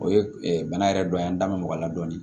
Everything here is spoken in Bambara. O ye bana yɛrɛ dɔ ye an da bɛ mɔgɔ la dɔɔnin